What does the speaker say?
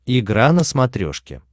игра на смотрешке